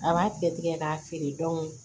A b'a tigɛ tigɛ k'a feere